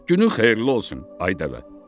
Günün xeyirli olsun, ay dəvə.